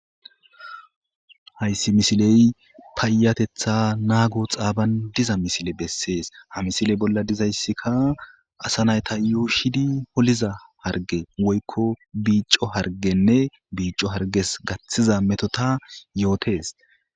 hayssi misiley paayatetha naago xaaban diza misile bessees ha misile bolla dizayssika asa nayta yuushidi holiza harge woykko biico hargenne biico harges gaththiza metota yootes